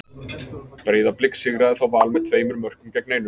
Breiðablik sigraði þá Val með tveimur mörkum gegn einu.